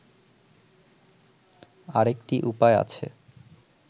আরেকটি উপায় আছে